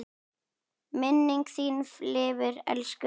Minning þín lifir, elsku Freddi.